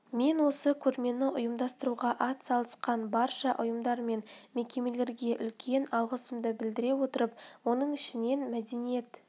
мен осы көрмені ұйымдастыруға атсалысқан барша ұйымдар мен мекемелерге үлкен алғысымды білдіре отырып оның ішінен мәдениет